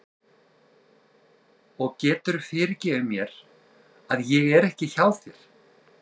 Og geturðu fyrirgefið mér að ég er ekki hjá þér?